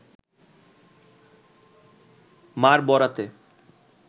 মার বরাতে